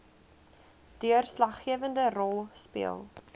deurslaggewende rol speel